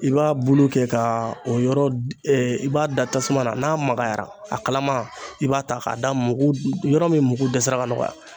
I b'a bulu kɛ ka o yɔrɔ i b'a da tasuma na n'a magayara a kalama i b'a ta k'a da mugu yɔrɔ min mugu dɛsɛra ka nɔgɔya.